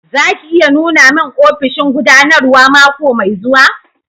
Za ki iya nuna mun ofishin gudanarwa mako mai zuwa?